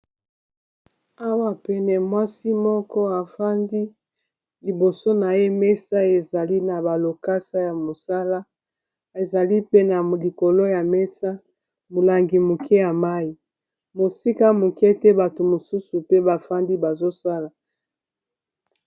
Awa pene mwasi moko efandi liboso na ye mesa ezali na ba lokasa ya mosala ezali pe na likolo ya mesa milangi mike ya mai, mosika mike ete bato misusu pe bafandi bazo sala.